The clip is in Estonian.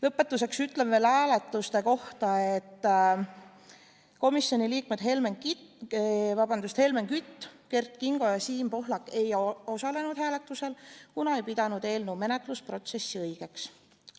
Lõpetuseks ütlen veel hääletuste kohta, et komisjoni liikmed Helmen Kütt, Kert Kingo ja Siim Pohlak ei osalenud hääletusel, kuna ei pidanud eelnõu menetlusprotsessi õigeks.